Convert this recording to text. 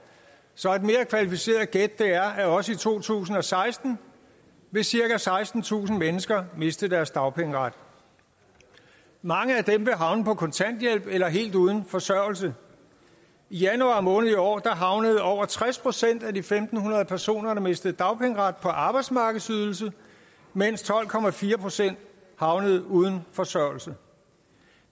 så et mere kvalificeret gæt er at også to tusind og seksten vil cirka sekstentusind mennesker miste deres dagpengeret mange af dem vil havne på kontanthjælp eller helt uden forsørgelse i januar måned i år havnede over tres procent af de fem hundrede personer der mistede dagpengeret på arbejdsmarkedsydelse mens tolv procent havnede uden forsørgelse